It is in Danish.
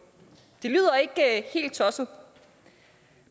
det lyder ikke helt tosset